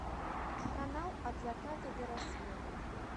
канал от заката до рассвета